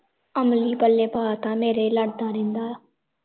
ਅਮਲੀ ਪੱਲੇ ਪਾਤਾ ਮੇਰੇ ਲੜਦਾ ਰਹਿੰਦਾ ਆ